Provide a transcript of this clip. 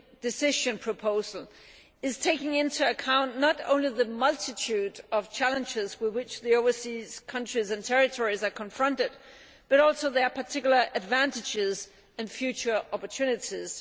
Decision proposal takes into account not only the multitude of challenges with which the overseas territories and countries are confronted, but also their particular advantages and future opportunities.